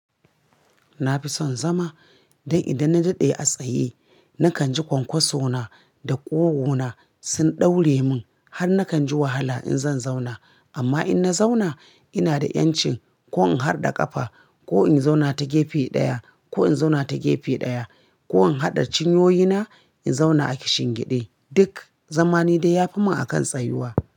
Na fi son zama, don idan na daɗe a tsaye, na kan ji kwankwaso na da ƙugu na sun ɗaure mun har na kan ji wahala in zan zauna. Amma in na zauna, ina da ƴancin ko in harɗa ƙafa ko in zauna ta gefe ɗaya ko in zauna ta gefe ɗaya ko in haɗa cinyoyi na in zauna a kishin gide. Duk zama nidai ya fi mun akan tsayuwa.